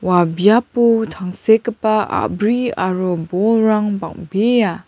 ua biapo tangsekgipa a·bri aro bolrang bang·bea.